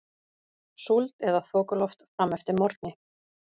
Súld eða þokuloft fram eftir morgni